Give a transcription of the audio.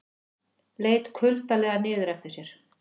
Leit kuldalega niður eftir sér.